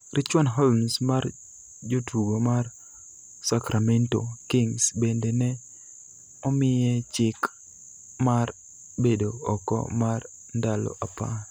Richuan Holmes mar jotugo mar Sacramento Kings bende ne omiye chik mar bedo oko mar ndalo apar